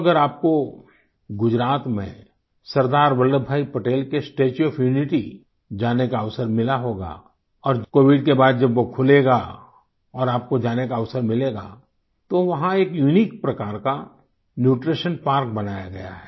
अगर आपको गुजरात में सरदार वल्लभभाई पटेल के स्टेच्यू ओएफ यूनिटी जाने का अवसर मिला होगा और कोविड के बाद जब वो खुलेगा और आपको जाने का अवसर मिलेगा तो वहां एक यूनिक प्रकार का न्यूट्रीशन पार्क बनाया गया है